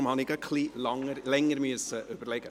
Deshalb musste ich etwas länger überlegen.